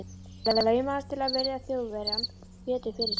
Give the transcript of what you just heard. Hann laumaðist til að virða Þjóðverjann betur fyrir sér.